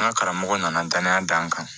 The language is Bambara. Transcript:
N ka karamɔgɔ nana danaya d'an kan